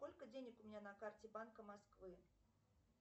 сколько денег у меня на карте банка москвы